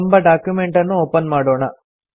ಎಂಬ ಡಾಕ್ಯುಮೆಂಟನ್ನು ಒಪನ್ ಮಾಡೋಣ